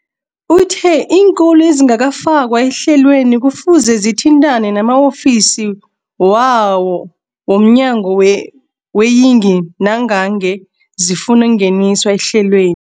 Uthe iinkolo ezingakafakwa ehlelweneli kufuze zithintane nama-ofisi wo mnyango weeyingi nangange zifuna ukungeniswa ehlelwe